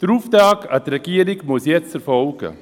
Der Auftrag an die Regierung muss jetzt erteilt werden.